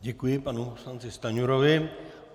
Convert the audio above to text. Děkuji panu poslanci Stanjurovi.